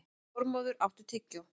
Þormóður, áttu tyggjó?